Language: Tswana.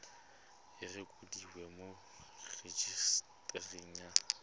e rekotiwe mo rejisetareng ya